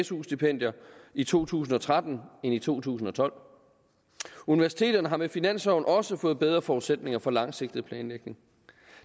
su stipendierne i to tusind og tretten end i to tusind og tolv universiteterne har med finansloven også fået bedre forudsætninger for langsigtet planlægning